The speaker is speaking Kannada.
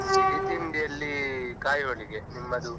ಸಿಹಿ ತಿಂಡಿಯಲ್ಲಿ kai holige ನಿಮ್ಮದು?